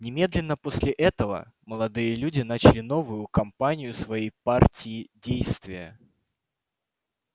немедленно после этого молодые люди начали новую компанию своей партии действия